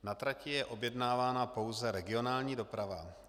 Na trati je objednávána pouze regionální doprava.